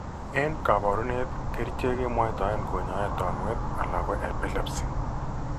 Eng' kaborunet kercheek kemwaitoen konyoe tonuet alako epilepsy